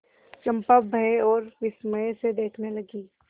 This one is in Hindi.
चंपा भय और विस्मय से देखने लगी